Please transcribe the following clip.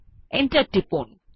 enter টিপুন